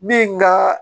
Min ka